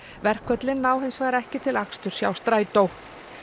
verkföllin ná hins vegar ekki til aksturs hjá Strætó